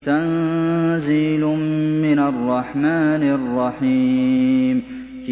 تَنزِيلٌ مِّنَ الرَّحْمَٰنِ الرَّحِيمِ